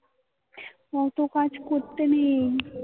অতো কাজ করতে নেই